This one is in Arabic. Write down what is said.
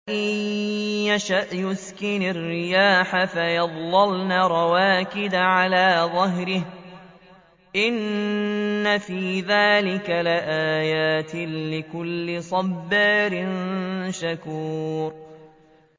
إِن يَشَأْ يُسْكِنِ الرِّيحَ فَيَظْلَلْنَ رَوَاكِدَ عَلَىٰ ظَهْرِهِ ۚ إِنَّ فِي ذَٰلِكَ لَآيَاتٍ لِّكُلِّ صَبَّارٍ شَكُورٍ